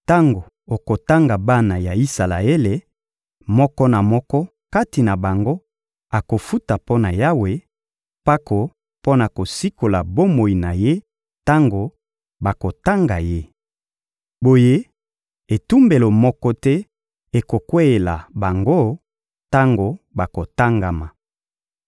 — Tango okotanga bana ya Isalaele, moko na moko kati na bango akofuta mpo na Yawe, mpako mpo na kosikola bomoi na ye tango bakotanga ye. Boye etumbu moko te ekokweyela bango tango bakotangama.